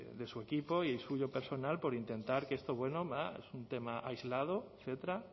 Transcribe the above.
de su equipo y el suyo personal por intentar que esto bueno bah es un tema aislado etcétera